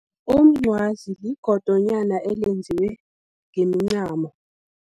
Umncwazi, ligodonyana elenziwe, ngeemncamo.